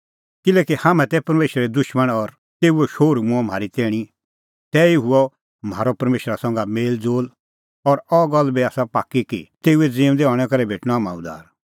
किल्हैकि हाम्हैं तै परमेशरे दुशमण और तेऊओ शोहरू मूंअ म्हारी तैणीं तैही हुअ म्हारअ परमेशरा संघै मेल़ज़ोल़ और अह गल्ल बी आसा पाक्की कि तेऊए ज़िऊंदै हणैं करै भेटणअ हाम्हां उद्धार